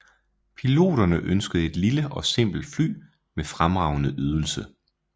Piloterne ønskede et lille og simpelt fly med fremragende ydelse